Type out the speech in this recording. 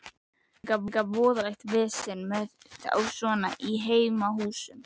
Það er líka voðalegt vesen með þá svona í heimahúsum.